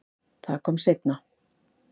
Það kom seinna